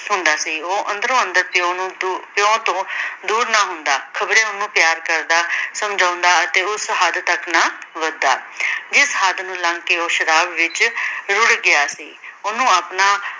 ਹੁੰਦਾ ਸੀ। ਉਹ ਅੰਦਰੋਂ-ਅੰਦਰ ਤਿਉ ਨੂੰ ਪਿਉ ਤੋਂ ਦੂਰ ਨਾ ਹੁੰਦਾ। ਖ਼ਬਰੇ ਉਹਨੂੰ ਪਿਆਰ ਕਰਦਾ, ਸਮਝਾਉਂਦਾ ਅਤੇ ਉਸ ਹੱਦ ਤਕ ਨਾ ਵੱਧਦਾ। ਜਿਸ ਹੱਦ ਨੂੰ ਲੱਗ ਕੇ ਉਹ ਸ਼ਰਾਬ ਵਿੱਚ ਰੁੜ ਗਿਆ ਸੀ। ਉਹਨੂੰ ਆਪਣਾ